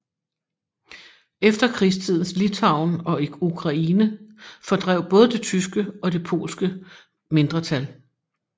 Efterkrigstidens Litauen og Ukraine fordrev både det tyske og det polske mindretal